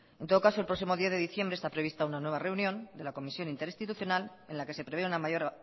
en todo caso el próximo diez de diciembre está prevista una nueva reunión de la comisión interinstitucional en la que se prevé una mayor